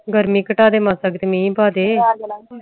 ਗ਼ਮੀ ਘਟਾ ਦੇ ਮਾਸ ਕ ਮਹਿ ਪਾ ਦੇ